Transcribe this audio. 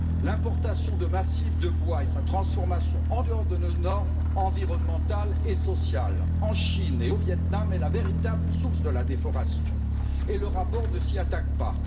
L'importation massive de bois et sa transformation en dehors de nos normes environnementales et sociales en Chine et au Vietnam est la véritable source de la déforestation, et le rapport ne s'y attaque pas.